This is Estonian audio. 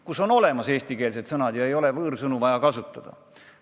Kui eestikeelsed sõnad olemas on, ei ole võõrsõnu kasutada vaja.